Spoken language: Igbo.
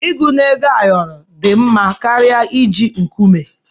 Ịgụ na Ego ayoro dị mma karịa iji nkume.